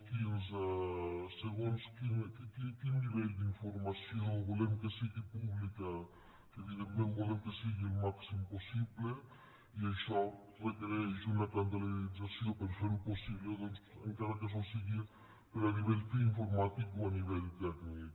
quin nivell d’informació volem que sigui pública que evidentment volem que ho sigui al màxim possible i això requereix una calendarització per ferho possible encara que sols sigui a nivell informàtic o a nivell tècnic